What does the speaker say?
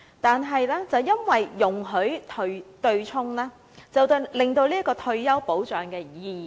但是，容許對沖，強積金已大大失去其退休保障的意義。